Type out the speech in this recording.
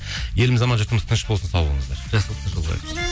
еліміз аман жұртымыз тыныш болсын сау болыңыздар жақсылықта жолығайық